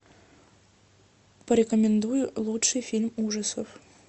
порекомендуй лучший фильм ужасов